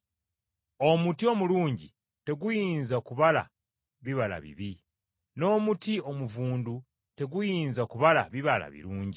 Omuti omulungi teguyinza kubala bibala bibi, n’omuti omuvundu teguyinza kubala bibala birungi.